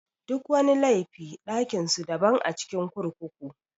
Duk wani laifi ɗakin su daban a cikin kurkuku.